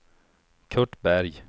Curt Berg